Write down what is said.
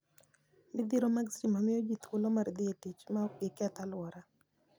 Midhiro mag stima miyo ji thuolo mar dhi e tich maok giketh alwora.